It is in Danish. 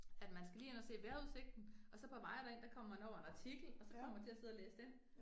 At man skal lige ind og se vejrudsigten, og så på vejen derind, der kommer man over en artikel, og så kommer til at sidde og læse den